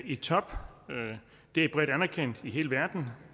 i top det er bredt anerkendt i hele verden